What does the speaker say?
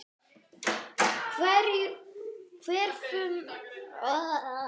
Hverfum aftur í tímann.